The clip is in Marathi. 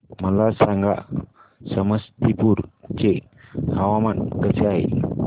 मला सांगा समस्तीपुर चे हवामान कसे आहे